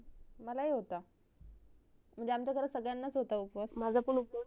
मलाही होता म्हणजे आमचा घरात सगड्यांनाच होता उपास